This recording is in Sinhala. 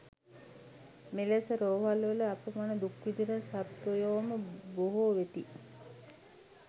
මෙලෙස රෝහලවල අපමණ දුක් විඳින සත්වයෝම බොහෝ වෙති.